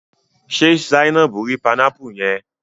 Ṣe Zainabu ri panámpù yẹn?